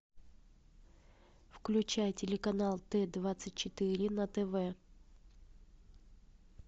включай телеканал т двадцать четыре на тв